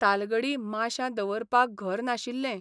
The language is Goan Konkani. तालगडी माश्यां दवरपाक घर नाशिल्लें.